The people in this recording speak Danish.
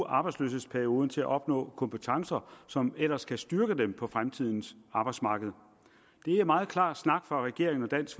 arbejdsløshedsperioden til at opnå kompetencer som ellers kan styrke dem på fremtidens arbejdsmarked det er meget klar snak fra regeringens og dansk